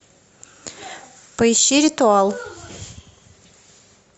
поищи ритуал